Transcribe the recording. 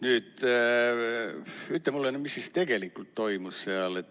Nüüd ütle mulle, mis siis tegelikult toimus seal.